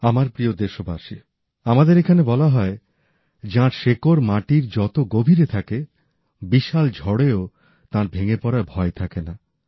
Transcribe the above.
আমার প্রিয় দেশবাসী আমাদের এখানে বলা হয় যাঁর শেকড় মাটির যত গভীরে থাকে বিশাল ঝড়েও তাঁর ভেঙ্গে পড়ার ভয় থাকে না